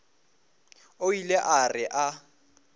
o ile a re a